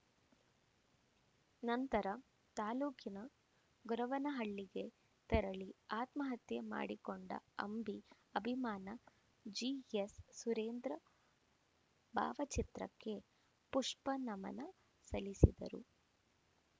ನಂತರ ತಾಲೂಕಿನ ಗೊರವನ ಹಳ್ಳಿಗೆ ತೆರಳಿ ಆತ್ಮಹತ್ಯೆ ಮಾಡಿಕೊಂಡ ಅಂಬಿ ಅಭಿಮಾನ ಜಿಎಸ್‌ಸುರೇಂದ್ರ ಭಾವಚಿತ್ರಕ್ಕೆ ಪುಷ್ಪನಮನ ಸಲ್ಲಿಸಿದರು